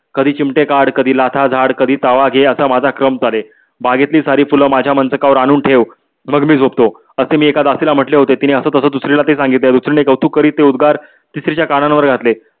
कधी चिमटे काड. कधी लाथा झाड कधी तवा घे असा माझा क्रम चाले. बागेतली सारी फुले माझ्या मंतकावर आणून ठेव मग मी झोपतो आशे मी एक दासीला म्हटले होते तिने हसत हसत दुसरीला ते सांगिले दुसरीने कौतुक करीत ते उद्गार तिसरी च्या कानांवर घातले.